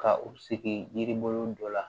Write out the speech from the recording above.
Ka u sigi yiri bolo dɔ la